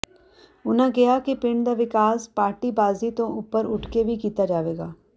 ਉਨ੍ਹਾਂ ਕਿਹਾ ਕਿ ਪਿੰਡ ਦਾ ਵਿਕਾਸ ਪਾਰਟੀਬਾਜ਼ੀ ਤੋਂ ਉਪਰ ਉਠ ਕੇ ਕੀਤਾ ਜਾਵੇਗਾ